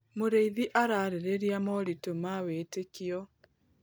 Mũrĩithi ararĩrĩria moritũ ma wĩtĩkio.